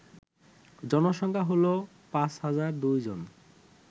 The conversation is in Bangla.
জনসংখ্যা হল ৫০০২ জন